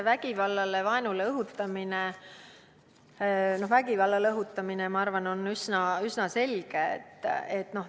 Vägivallale ja vaenule õhutamine – no vägivallale õhutamine, ma arvan, on üsna selge.